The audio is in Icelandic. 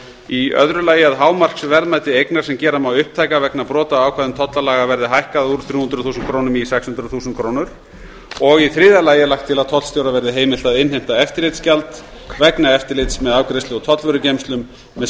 í öðru lagi að hámarksverðmæti eignar sem gera má upptæka vegna brota á ákvæðum tollalaga verði hækkað úr þrjú hundruð þúsund krónum í sex hundruð þúsund krónur og í þriðja lagi er lagt til að tollstjóra verði heimilt að innheimta eftirlitsgjald vegna eftirlits með afgreiðslu og tollvörugeymslum með